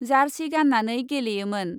जार्सि गान्नानै गेलेयोमोन ।